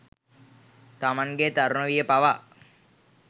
තමන්ගේ තරුණ විය පවා